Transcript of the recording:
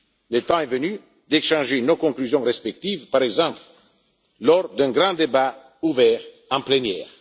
Le temps est venu d'échanger nos conclusions respectives, par exemple lors d'un grand débat ouvert en plénière.